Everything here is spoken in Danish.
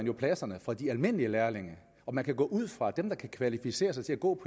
jo pladserne fra de almindelige lærlinge man kan gå ud fra at dem der kan kvalificere sig til at gå